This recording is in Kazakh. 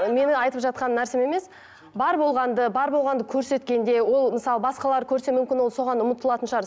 ы менің айтып жатқан нәрсем емес бар болғанды бар болғанды көрсеткенде ол мысалы басқалар көрсе мүмкін ол соған ұмытылатын шығар